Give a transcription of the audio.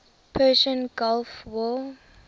persian gulf war